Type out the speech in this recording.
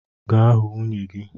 Gaa hụ nwunye gị!